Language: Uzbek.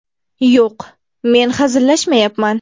Yo‘q, men hazillashmayapman.